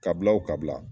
Ka bila o ka bila